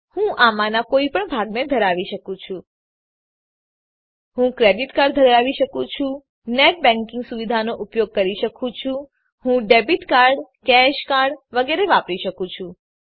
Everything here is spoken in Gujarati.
હું આમાંનાં કોઈ પણ ભાગને ધરાવી શકું છું હું ક્રેડીટ કાર્ડ ધરાવી શકું છું હું નેટ બેંકીંગ સુવિધાનો ઉપયોગ કરી શકું છું હું ડેબીટ કાર્ડ કેશ કાર્ડ વગેરેને વાપરી શકું છું